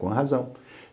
Com a razão.